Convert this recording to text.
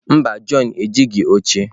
Mba, john ejighị oche